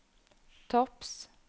topps